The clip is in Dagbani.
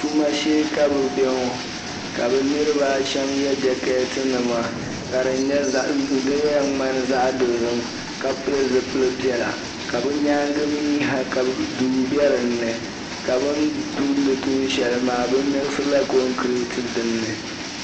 Tumashee ka bɛ ŋɔ ka bɛ niriba a shɛm ye jekɛtinima ka di yɛn ŋmani zaɣ'dozim ka pili zupili'piɛla ka bɛ nyaaŋa mi ha ka duu bɛ dini ka bɛ tumdi tuun'shɛli maa bɛ gabila kɔgirati din ni.